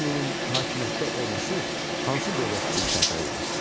Ullusunun hakimiyyətdə olması hansı dövlət üçün sərfəli idi?